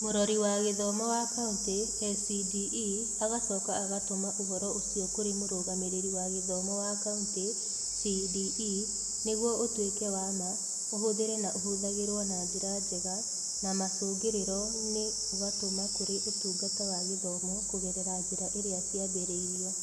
Mũrori wa Gĩthomo wa Kauntĩ (SCDE) agacoka agatũma ũhoro ũcio kũrĩ Mũrũgamĩrĩri wa Gĩthomo wa Kaunti (CDE) nĩguo ũtuĩke wa ma, ũhũthĩre na ũhũthagĩrwo na njĩra njega, na macũngĩrĩro-inĩ ũgatũma kũrĩ Ũtungata wa Gĩthomo kũgerera njĩra iria ciambĩrĩirio.